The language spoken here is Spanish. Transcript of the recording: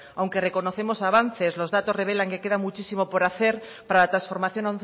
aunque reconocemos avances los datos revelan que quedan muchísimo por hacer para la transformación